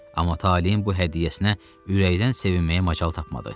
Amma taleyin bu hədiyyəsinə ürəkdən sevinməyə macal tapmadı.